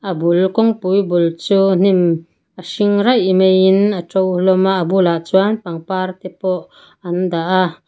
kawngpui bul chu hnim a hring raih maiin a to hlawm a a bulah chuan pangpar te pawh an dah a.